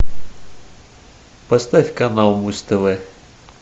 поставь канал муз тв